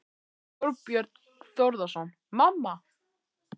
Þorbjörn Þórðarson: Mamma?